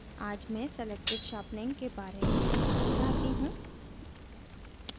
आज मैं selective sharpening selective sharpening के बारे में सिखाना चाहती हूँ